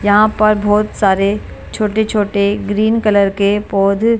यहां पर बहुत सारे छोटे-छोटे ग्रीन कलर के पौधे --